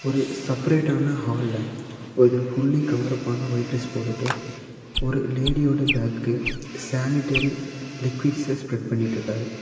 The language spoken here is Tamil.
ஒரு செப்பரேட்டான ஹால்ல ஒரு ஃபுள்ளி கவர் அப்பான ஒயிட் டிரஸ் போட்டுட்டு ஒரு லேடியோட பேக்குக்கு சானிட்டரி லிக்விட்சு ஸ்பேரேட் பண்ணிட்ருக்காரு.